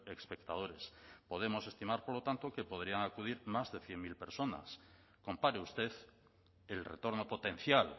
espectadores podemos estimar por lo tanto que podrían acudir más de cien mil personas compare usted el retorno potencial